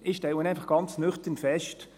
Ich stelle einfach ganz nüchtern fest: